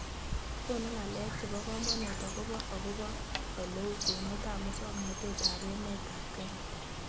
Konu ng'alek chebo komonut akobo okobo oleu kwenutab musoknotet eng emetab Kenya